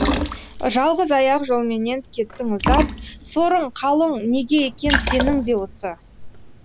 жалғыз аяқ жолменен кеттің ұзап сорың қалың неге екен сенің де осы